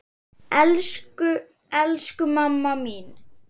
Elsku, elsku mamma mín.